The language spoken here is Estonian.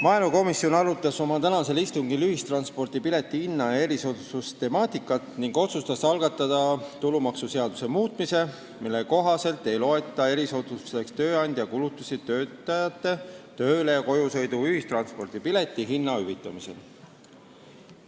Maaelukomisjon arutas oma tänasel istungil ühistranspordi pileti hinna ja erisoodustuste temaatikat ning otsustas algatada tulumaksuseaduse muudatuse, mille kohaselt ei loeta erisoodustuseks tööandja kulutusi töötajate tööle- ja kojusõidu piletihinna hüvitamisel.